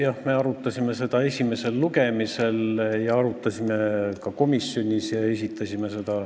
Jah, me arutasime seda esimesel lugemisel ja arutasime seda ka komisjonis.